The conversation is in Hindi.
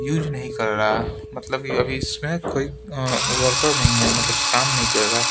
यूज नहीं कर रहा मतलब अभी इसमें कोई वर्कर नहीं है मतलब काम नहीं कर रहा।